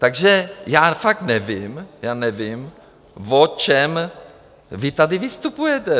Takže já fakt nevím, já nevím, o čem vy tady vystupujete.